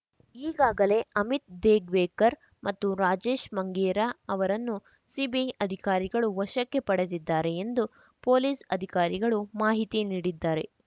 ಈಗಾಗಲೇ ಅಮಿತ್‌ ದೇಗ್ವೇಕರ್‌ ಮತ್ತು ರಾಜೇಶ್‌ ಮಂಗೇರಾ ಅವರನ್ನು ಸಿಬಿಐ ಅಧಿಕಾರಿಗಳು ವಶಕ್ಕೆ ಪಡೆದಿದ್ದಾರೆ ಎಂದು ಪೊಲೀಸ್‌ ಅಧಿಕಾರಿಗಳು ಮಾಹಿತಿ ನೀಡಿದ್ದಾರೆ